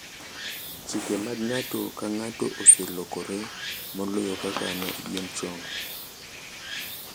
Chike mag ng’ato ka ng’ato oselokore moloyo kaka ne gin chon.